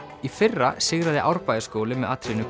í fyrra sigraði Árbæjarskóli með atriðinu